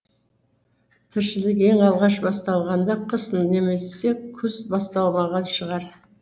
тіршілік ең алғаш басталғанда қыс немесе күз басталмаған шығар